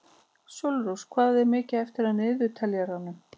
Sólrós, hvað er mikið eftir af niðurteljaranum?